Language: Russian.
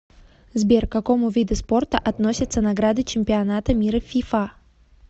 сбер к какому виду спорта относится награды чемпионата мира фифа